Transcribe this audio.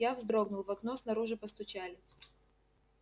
я вздрогнул в окно снаружи постучали